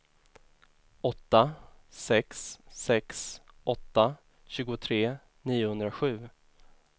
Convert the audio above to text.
åtta sex sex åtta tjugotre niohundrasju